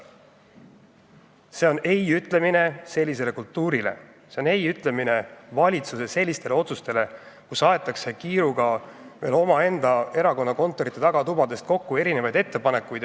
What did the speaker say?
See on "ei" ütlemine sellisele kultuurile, see on "ei" ütlemine valitsuse sellistele otsustele, kus aetakse kiiruga omaenda erakonna kontorite tagatubadest kokku erinevaid ettepanekuid.